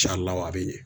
Can la wa a bɛ ɲɛ